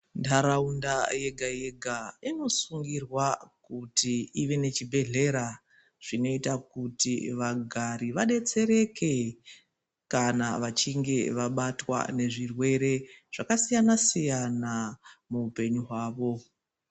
Muntaraunda yega yega unosungirwa kuti ive nechibhodhlera zvinoita kuti vagari vadetsereke kana vachinge vabatwa ngezvirwere zvakasiyana siyana muupenyu hwavo.